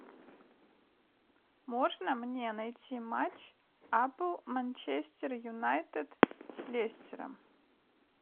можно мне найти матч апл манчестер юнайтед с лестером